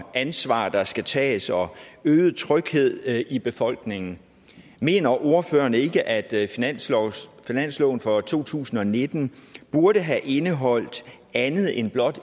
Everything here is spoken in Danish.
ansvar der skal tages og øget tryghed i befolkningen mener ordføreren ikke at finansloven finansloven for to tusind og nitten burde have indeholdt andet end blot